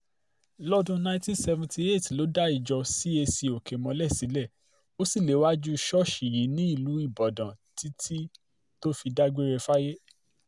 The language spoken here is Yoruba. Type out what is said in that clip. lọ́dún nineteen sevnty eight ló dá ìjọ cac oke-ìmọ́lẹ̀ sílẹ̀ ó sì léwájú ṣọ́ọ̀ṣì yìí nílùú ibodàn títí tó fi dágbére fáyé